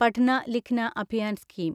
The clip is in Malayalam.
പഠ്ന ലിഖ്ന അഭിയാൻ സ്കീം